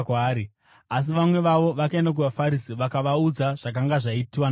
Asi vamwe vavo vakaenda kuvaFarisi vakavaudza zvakanga zvaitwa naJesu.